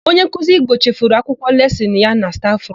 Onyenkuzi Igbo chefuru akwụkwọ lesịnụ ya na stafụrumu.